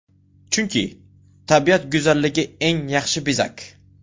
Chunki, tabiat go‘zalligi eng yaxshi bezak.